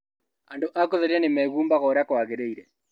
Andũ a gũtheria nĩ meehumbaga ũrĩa kwagĩrĩire